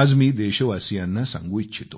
आज मी देशवासियांना सांगू इच्छितो